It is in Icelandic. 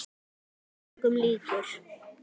Hann var engum líkur.